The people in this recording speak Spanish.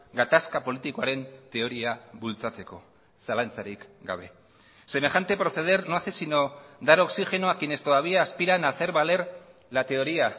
gatazka politikoaren teoria bultzatzeko zalantzarik gabe semejante proceder no hace sino dar oxigeno a quienes todavía aspiran a hacer valer la teoría